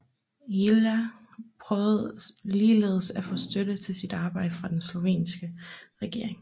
Ilja prøvede ligeledes at få støtte til sit arbejde fra den sovjetiske regering